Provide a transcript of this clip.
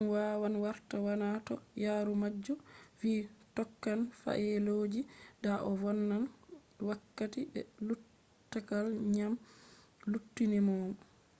dum wawan warta waana toh yaarumajo vi tokkan faayeloji da o vonnan wakkati be luttukal dyam luttinimo